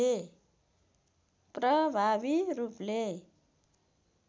प्रभावी रूपले